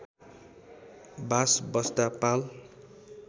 बास बस्दा पाल